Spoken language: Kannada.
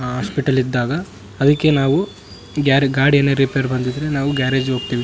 ಆ ಹಾಸ್ಪಿಟಲ್ ಇದ್ದಾಗ ಅದಕ್ಕೆ ನಾವು ಗ್ಯಾರೇ ಗಾಡಿ ಏನಾದ್ರು ರಿಪೆರಿ ಬಂದಿದ್ರೆ ನಾವು ಗ್ಯಾರೇಜ್ ಹೋಗ್ತೇವೆ.